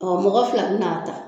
mɔgɔ fila bin'a ta